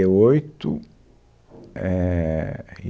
oito eh e